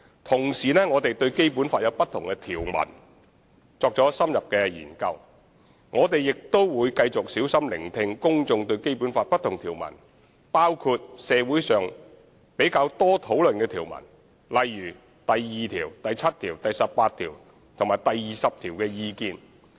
同時，我們會就《基本法》不同條文作出深入研究，亦會繼續小心聆聽公眾對《基本法》不同條文的意見，包括社會上較多討論的條文如第二、七、十八及二十條。